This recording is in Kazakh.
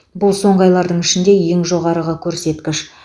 бұл соңғы айлардың ішінде ең жоғары көрсеткіш